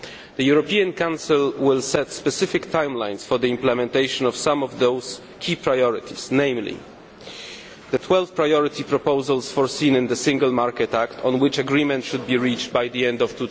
The European Council will set specific timelines for the implementation of some of those key priorities, namely the 12 priority proposals foreseen in the Single Market Act on which agreement should be reached by the end of